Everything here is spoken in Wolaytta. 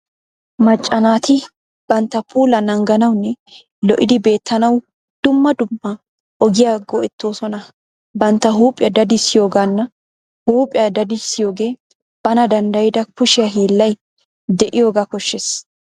Macca naati bantta puulaa naaganawunne lo'idi beettanawu dumma dumma ogiyaa go'ettoosona. Bantta huuphphiyaa dadisiyoogana. Huuphphiyaa dadisiyogee bana danddayida kushshiyaa hiilay deiyoga koshshees.